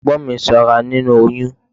Ẹ̀gbọ́n mi sanra nínú oyún.